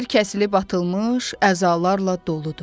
Yer kəsilib atılmış əzalarla doludur.